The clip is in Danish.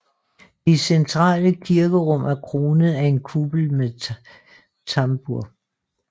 Det centrale kirkerum er kronet af en kuppel med tambur